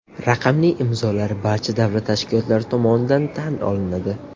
Raqamli imzolar barcha davlat tashkilotlari tomonidan tan olinadi.